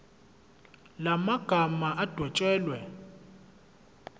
la magama adwetshelwe